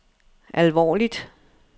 alvorligt